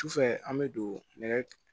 Sufɛ an bɛ don nɛgɛ